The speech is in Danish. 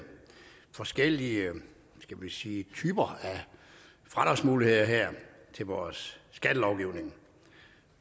forskellige skal vi sige typer af fradragsmuligheder til vores skattelovgivning